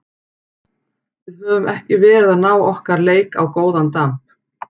Við höfum ekki verið að ná okkar leik á góðan damp.